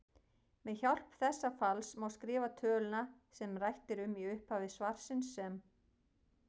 Með hjálp þessa falls má skrifa töluna sem rætt er um í upphafi svarsins sem